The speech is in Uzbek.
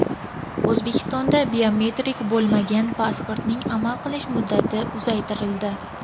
O‘zbekistonda biometrik bo‘lmagan pasportning amal qilish muddati uzaytirildi.